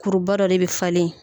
Kuruba dɔ de be falen ye